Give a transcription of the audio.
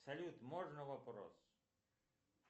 салют можно вопрос